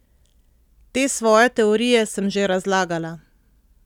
Te svoje teorije sem že razlagala.